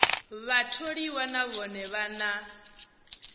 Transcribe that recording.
vhatholiwa na vhone vha na